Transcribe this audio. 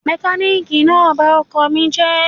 Mọkálíìkì náà ba ọkọ̀ ọkọ mi jẹ́